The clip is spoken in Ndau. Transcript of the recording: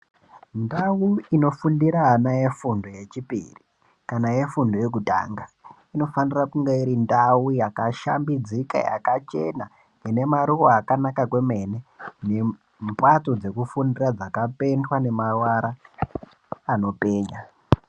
Ndau inofundira ana e fundo ye chipiri kana ye fundo ye kutanga inofanira kunga iri ndau yaka shambidzika yakachena ine maruva akanaka kwemene ne mbatso dzeku fundira dzaka pendwa ne mavara anopenya.